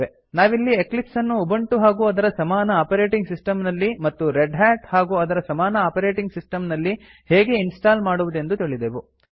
ನಾವಿಲ್ಲಿ ಎಕ್ಲಿಪ್ಸ್ ಅನ್ನು ಉಬಂಟು ಹಾಗು ಅದರ ಸಮಾನ ಆಪರೇಟಿಂಗ್ ಸಿಸ್ಟಮ್ ನಲ್ಲಿ ಮತ್ತು ರೆಡ್ ಹ್ಯಾಟ್ ಹಾಗೂ ಅದರ ಸಮಾನ ಆಪರೇಟಿಂಗ್ ಸಿಸ್ಟಮ್ ನಲ್ಲಿ ಹೇಗೆ ಇನ್ಸ್ಟಾಲ್ ಮಾಡುವುದೆಂದು ತಿಳಿದೆವು